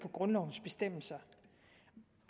på grundlovens bestemmelser